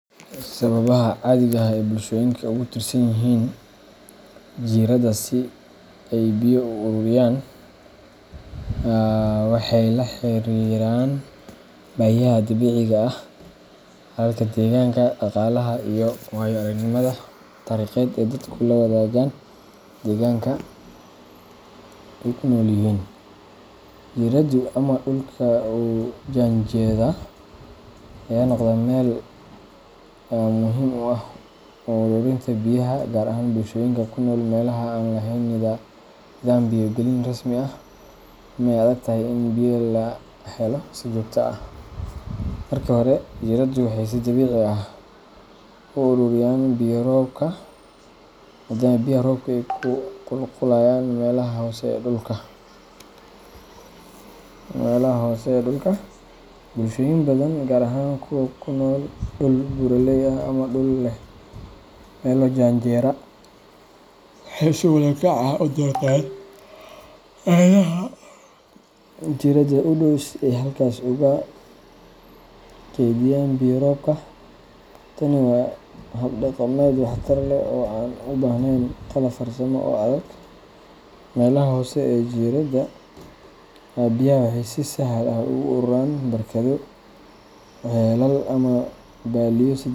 Sawabaha cadiga ee bulshada ogutirsanyixinba ay biya uawuriyan aa waxay laxariran bahiyaha dabiciga ah halka deganka deganka daqalaha iyo wayo aragnima tarikda ay dadku lawadagan, deganka ay kunolyixin jiranadaa ama dulka ay ujandeda waxay nogdan meel myxiim ah xowl wadenta bulshoyinka kunol waxay ilatahay inay lahelo sawabto ah jiraada iyo hisso dabici ah, uu uroroyan biya roobka hadad biyaha roobka kuururiyan qebaha hosee ee dulka bulshoyin badan gaar ahan kuwa kunool duul beraley ah mela jaraanjira waxay si udortan macnaha jirada 7dow si ay halkas oga ibiyaan taani wa hab dagamed wax tar leh umaleyn talo farsamo melaha hoose ee jirada aya biyaha si sahal ah oguaruran barkado celal ama.